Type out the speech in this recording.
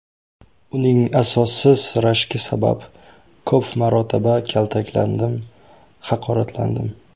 Uning asossiz rashki sabab ko‘p marotaba kaltaklandim, haqoratlandim.